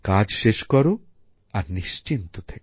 কাজ শেষ করো আর নিশ্চিন্ত থেকো